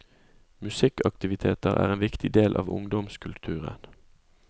Musikkaktiviteter er en viktig del av ungdomskulturen.